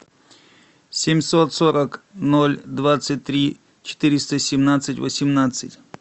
семьсот сорок ноль двадцать три четыреста семнадцать восемнадцать